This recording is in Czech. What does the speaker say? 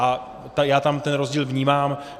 A já tam ten rozdíl vnímám.